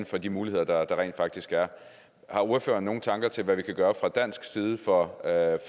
for de muligheder der rent faktisk er har ordføreren nogle tanker til hvad vi kan gøre fra dansk side for at